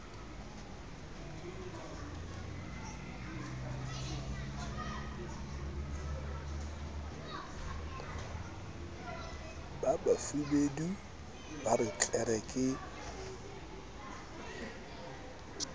bafubedi ba re tlere ke